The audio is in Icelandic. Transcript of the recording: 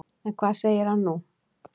En hvað segir hann nú?